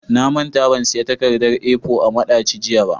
Na manta ban siyan takardar A4 a madaci jiya ba.